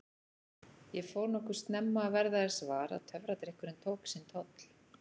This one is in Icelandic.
Ég fór nokkuð snemma að verða þess var að töfradrykkurinn tók sinn toll.